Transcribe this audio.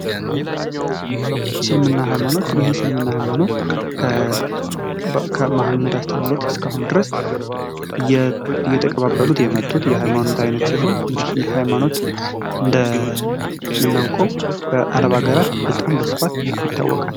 ስልምና ሃይማኖት ይህ ስልምና ሃይማኖት ከመሀመድ አስተምሮት እስከ አሁን ድረስ እየተቀባበሉት የመጡት የሃይማኖት ዓይነት ሲሆን እንግዲህ ይህ ሃይማኖት እንደምናውቀው በአረብ ሀገራት በጣም በስፋት ይታወቃል።